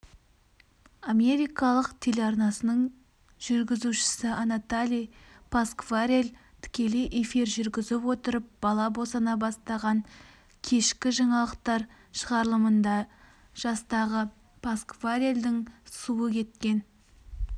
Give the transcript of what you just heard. америкалық телеарнасының жүргізушісінатали пасквареллтікелей эфир жүргізіп отырып бала босана бастаған кешкі жаңалықтар шығарылымында жастағыпасквареллдің суы кеткен